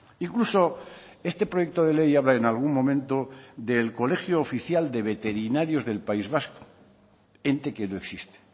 incluso este proyecto de ley habla en algún momento del colegio oficial de veterinarios del país vasco ente que no existe